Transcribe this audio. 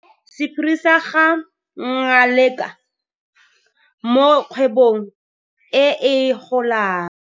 Sephiri sa ga Ngaleka mo kgwebong e e golang.